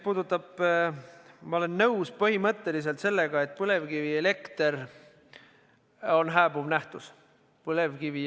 Ma olen põhimõtteliselt nõus, et põlevkivielekter on hääbuv nähtus.